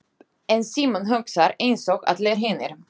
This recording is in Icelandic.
En Símon hugsar einsog allir hinir.